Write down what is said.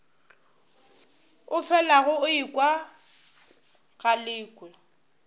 o felago o ekwa galekwe